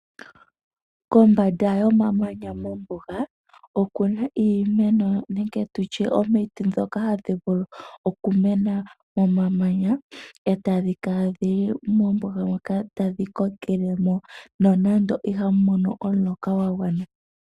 Kombanda yomamanya mombuga okuna omiti dhoka hadhi vulu okumena momamanya ee tadhi kala dhili mombuga moka ee tadhi kokelemo nonando ihamu mono omuloka gwagwana.